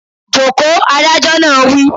Joko! Adájọ́ náà wí